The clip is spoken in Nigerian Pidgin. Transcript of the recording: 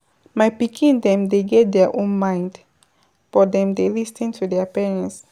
My pikin dem dey get their own mind but dem dey lis ten to their parents.